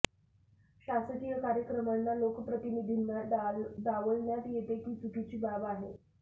शासकीय कार्यक्रमांना लोकप्रतिनिधींना डावलण्यात येते ही चुकीची बाब आहे